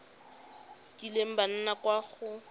kileng ba nna kwa go